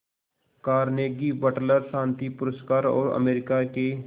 Carnegie Wateler शांति पुरस्कार और अमेरिका के